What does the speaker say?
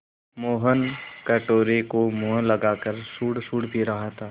मोहन कटोरे को मुँह लगाकर सुड़सुड़ पी रहा था